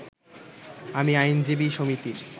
আমি আইনজীবী সমিতির